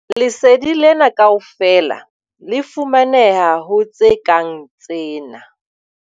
Lesedi lena kaofela le fumaneha ho tse kang tsena.